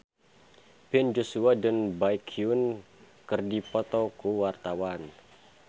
Ben Joshua jeung Baekhyun keur dipoto ku wartawan